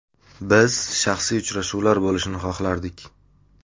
Biz shaxsiy uchrashuvlar bo‘lishini xohlardik.